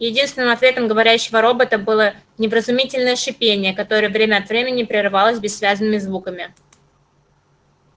единственным ответом говорящего робота было невразумительное шипение которое время от времени прерывалось бессвязными звуками